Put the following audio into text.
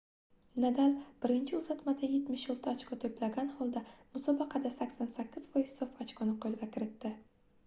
nadal birinchi uzatmada 76 ochko toʻplagan holda musobaqada 88% sof ochkoni qoʻlga kiritdi